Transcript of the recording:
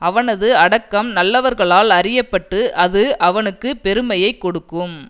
அவனது அடக்கம் நல்லவர்களால் அறிய பட்டு அது அவனுக்கு பெருமையை கொடுக்கும்